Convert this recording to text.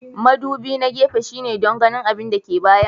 Mudubi na gefe shine don ganin abin da ke bayan.